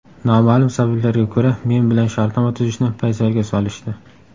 Noma’lum sabablarga ko‘ra men bilan shartnoma tuzishni paysalga solishdi.